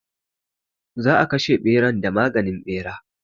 Za a kashe ɓeran da maganin ɓera.